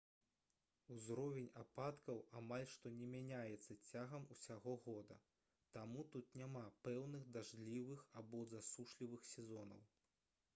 узровень ападкаў амаль што не мяняецца цягам усяго года таму тут няма пэўных дажджлівых або засушлівых сезонаў